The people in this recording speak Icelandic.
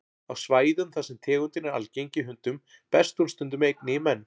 Á svæðum þar sem tegundin er algeng í hundum berst hún stundum einnig í menn.